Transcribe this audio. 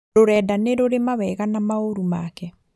Rũrenda nĩrũrĩ mawega na maũru make